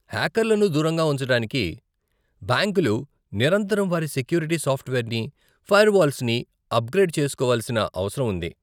హ్యాకర్లను దూరంగా ఉంచటానికి, బ్యాంకులు నిరంతరం వారి సెక్యూరిటీ సాఫ్ట్వేర్ని, ఫైర్వాల్స్ని అప్గ్రేడ్ చేస్కోవలసిన అవసరం ఉంది.